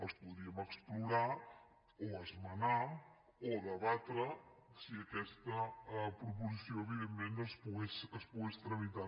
els podríem explorar o esmenar o debatre si aquesta proposició evidentment es pogués tramitar